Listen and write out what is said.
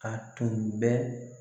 A tun bɛ